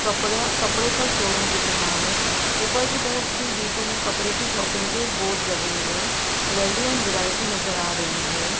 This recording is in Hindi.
कपड़ा कपड़े का शोरूम दिख रहा है ऊपर की तरफ भी वी टू में कपड़े की शॉपिंग के बोर्ड लगे हुए वैल्यू एंड वैरायटी नजर आ रही है।